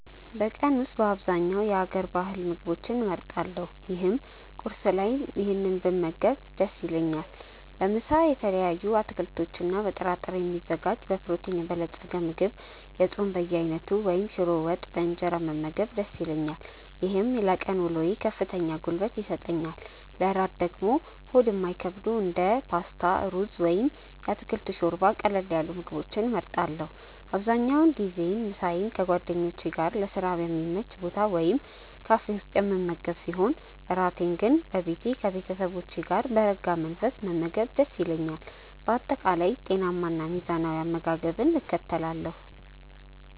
በቀን ውስጥ በአብዛኛው የሀገር ባህል ምግቦችን እመርጣለሁ ይህም ቁርስ ላይ ይህንን ብመገብ ደስ ይለኛል። ለምሳ በተለያዩ አትክልቶችና በጥራጥሬ የሚዘጋጅ በፕሮቲን የበለፀገ ምግብ፣ የጾም በየአይነቱ ወይም ሽሮ ወጥ በእንጀራ መመገብ ደስ ይለኛል። ይህም ለቀን ውሎዬ ከፍተኛ ጉልበት ይሰጠኛል። ለእራት ደግሞ ሆድ የማይከብዱ እንደ ፓስታ፣ ሩዝ ወይም የአትክልት ሾርባ ያሉ ቀለል ያሉ ምግቦችን እመርጣለሁ። አብዛኛውን ጊዜ ምሳዬን ከጓደኞቼ ጋር ለስራ በሚመች ቦታ ወይም ካፌ ውስጥ የምመገብ ሲሆን፣ እራቴን ግን በቤቴ ከቤተሰቦቼ ጋር በረጋ መንፈስ መመገብ ደስ ይለኛል። በአጠቃላይ ጤናማና ሚዛናዊ አመጋገብን እከተላለሁ።